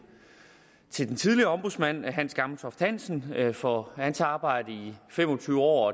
til den tidligere ombudsmand hans gammeltoft hansen for hans arbejde i fem og tyve år